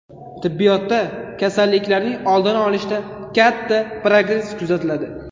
Tibbiyotda kasalliklarning oldini olishda katta progress kuzatiladi.